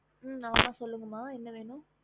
ம் நாத சொல்லுக ம என்ன வேணும்